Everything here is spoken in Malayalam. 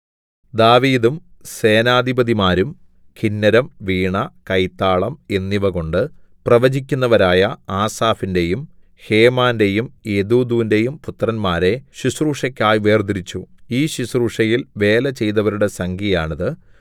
ദാവീദും സേനാധിപതിമാരും കിന്നരം വീണ കൈത്താളം എന്നിവകൊണ്ടു പ്രവചിക്കുന്നവരായ ആസാഫിന്റെയും ഹേമാന്റെയും യെദൂഥൂന്റെയും പുത്രന്മാരെ ശുശ്രൂഷയ്ക്കായി വേർതിരിച്ചു ഈ ശുശ്രൂഷയിൽ വേല ചെയ്തവരുടെ സംഖ്യയാണിത്